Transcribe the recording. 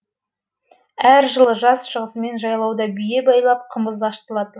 әр жылы жаз шығысымен жайлауда бие байлап қымыз ашытылады